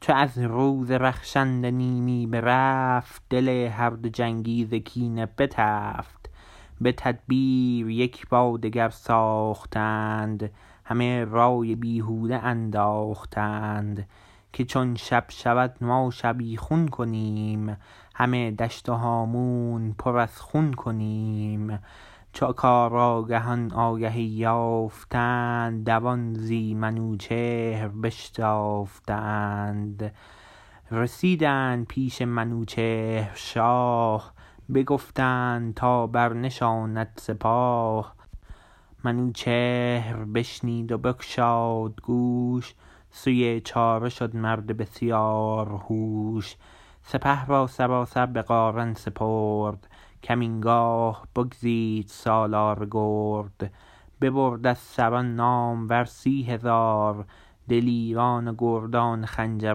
چو از روز رخشنده نیمی برفت دل هر دو جنگی ز کینه بتفت به تدبیر یک با دگر ساختند همه رای بیهوده انداختند که چون شب شود ما شبیخون کنیم همه دشت و هامون پر از خون کنیم چو کارآگهان آگهی یافتند دوان زی منوچهر بشتافتند رسیدند پیش منوچهر شاه بگفتند تا برنشاند سپاه منوچهر بشنید و بگشاد گوش سوی چاره شد مرد بسیار هوش سپه را سراسر به قارن سپرد کمین گاه بگزید سالار گرد ببرد از سران نامور سی هزار دلیران و گردان خنجر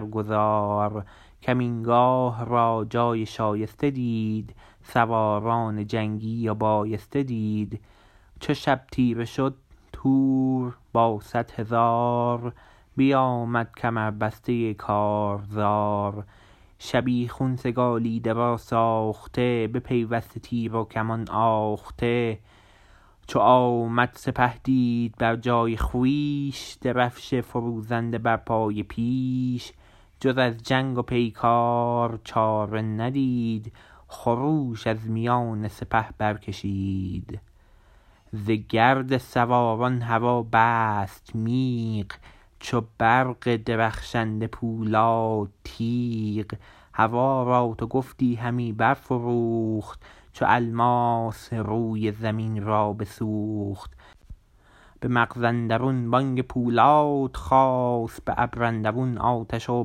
گزار کمین گاه را جای شایسته دید سواران جنگی و بایسته دید چو شب تیره شد تور با صدهزار بیامد کمربسته کارزار شبیخون سگالیده و ساخته بپیوسته تیر و کمان آخته چو آمد سپه دید بر جای خویش درفش فروزنده بر پای پیش جز از جنگ و پیکار چاره ندید خروش از میان سپه بر کشید ز گرد سواران هوا بست میغ چو برق درخشنده پولاد تیغ هوا را تو گفتی همی برفروخت چو الماس روی زمین را بسوخت به مغز اندرون بانگ پولاد خاست به ابر اندرون آتش و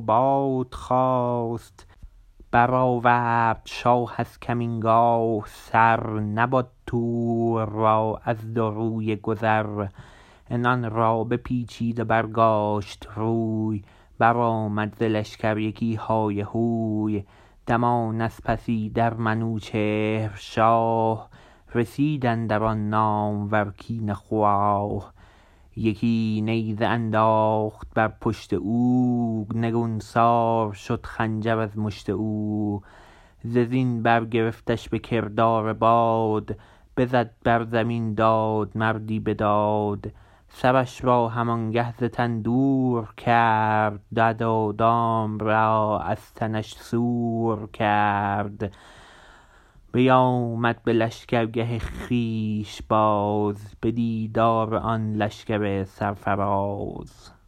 باد خاست برآورد شاه از کمین گاه سر نبد تور را از دو رویه گذر عنان را بپیچید و برگاشت روی برآمد ز لشکر یکی های هوی دمان از پس ایدر منوچهر شاه رسید اندر آن نامور کینه خواه یکی نیزه انداخت بر پشت او نگونسار شد خنجر از مشت او ز زین برگرفتش به کردار باد بزد بر زمین داد مردی بداد سرش را هم آنگه ز تن دور کرد دد و دام را از تنش سور کرد بیامد به لشکرگه خویش باز به دیدار آن لشکر سرفراز